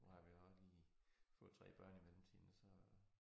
Nu har vi også lige fået 3 børn i mellemtiden og så